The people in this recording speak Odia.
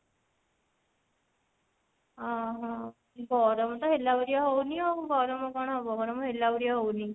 ଓଃ ହୋ ଗରମ ତ ହେଲା ଭଳିଆ ହଉନି ଆଉ ଗରମ କଣ ହବ ଗରମ ହେଲା ଭଳିଆ ହଉନି